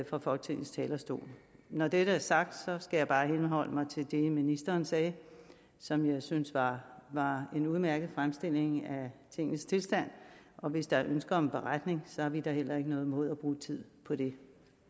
fra folketingets talerstol når dette er sagt skal jeg bare henholde mig til det ministeren sagde som jeg synes var var en udmærket fremstilling af tingenes tilstand og hvis der er ønske om en beretning har vi da heller ikke noget imod at bruge tid på det